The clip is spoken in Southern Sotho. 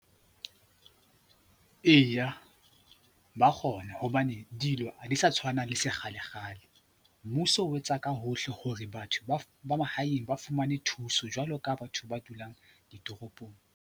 Eya, ba kgona hobane dilo ha di sa tshwana le se kgalekgale. Mmuso o etsa ka hohle hore batho ba mahaeng ba fumane thuso jwalo ka batho ba dulang ditoropong.